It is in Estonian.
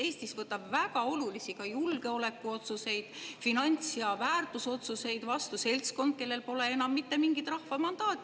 Eestis võtab väga olulisi, ka julgeolekuotsuseid, finants‑ ja väärtusotsuseid vastu seltskond, kellel pole enam mitte mingit rahva mandaati.